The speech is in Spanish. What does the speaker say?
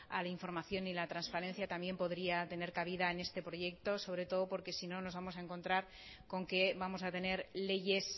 a la información y la transparencia también podría tener cabida en este proyecto sobre todo porque si no nos vamos a encontrar con que vamos a tener leyes